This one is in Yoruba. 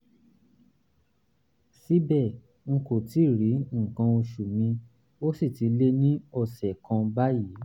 síbẹ̀ n kò tíì rí nǹkan oṣù mi ó sì ti lé ní ọ̀sẹ̀ kan báyìí